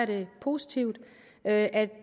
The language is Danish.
det positivt at